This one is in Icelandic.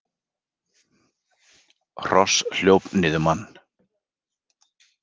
Hross hljóp niður mann